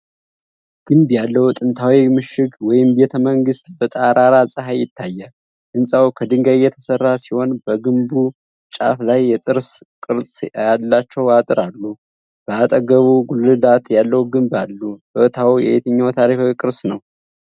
ግንብ ያለው ጥንታዊ ምሽግ ወይም ቤተመንግስት በጠራራ ፀሐይ ይታያል። ህንፃው ከድንጋይ የተሰራ ሲሆን በግንቡ ጫፍ ላይ የጥርስ ቅርጽ ያላቸው አጥር አሉ። አጠገቡም ጉልላት ያለው ግንብ አሉ። ቦታው የትኛው ታሪካዊ ቅርስ ነው?